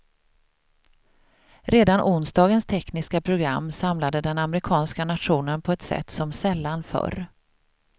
Redan onsdagens tekniska program samlade den amerikanska nationen på ett sätt som sällan förr.